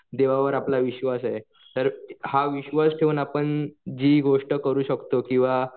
देवावर आपला विश्वास आहे. तर हा विश्वास ठेवून आपण जी गोष्ट करू शकतो किंवा